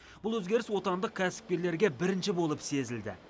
бұл өзгеріс отандық кәсіпкерлерге бірінші болып сезілді